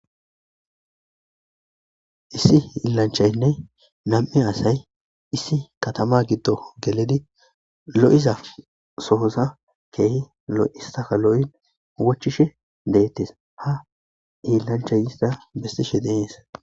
Issi iillanchaynne nam'i asay issi katama giddo geledi lo7iza soosa keehi lo'isaka lo'i wachishe deettes ha iillanchayista bestishe deees.